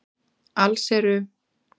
Alls eru